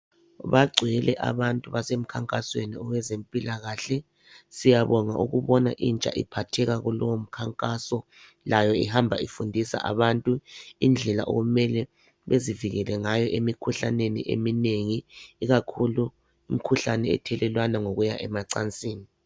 Bagcwele abantu basemkhankasweni wezempilakahle, siyabonga ukubona intsha iphatheka kulowo mkhankaso, layo ihamba ifundisa abantu indlela okumele bazivikele ngayo emikhuhlaneni eminengi, ikakhulu imkhuhlane ethelelwana ngokuya emacansini.